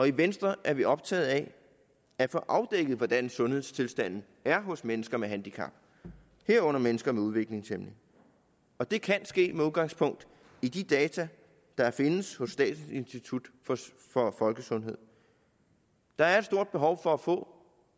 i venstre er vi optaget af at få afdækket hvordan sundhedstilstanden er hos mennesker med handicap herunder mennesker med udviklingshæmning og det kan ske med udgangspunkt i de data der findes hos statens institut for folkesundhed der er et stort behov for at få